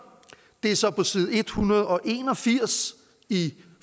det er så på side en hundrede og en og firs i